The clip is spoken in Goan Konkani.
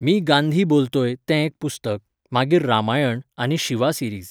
मी गांधी बोलतोय' तें एक पुस्तक, मागीर रामायण आनी शिवा सिरीज